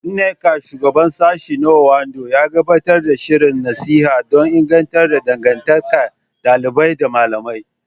Nneka, Shugaban Sashen na Ondo, ya gabatar da shirin nasiha don inganta dangantakar ɗalibai da malamai.